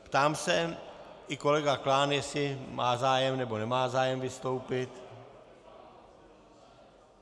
Ptám se i kolegy Klána, jestli má zájem, nebo nemá zájem vystoupit.